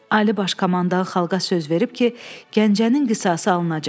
Ali Baş Komandan xalqa söz verib ki, Gəncənin qisası alınacaq.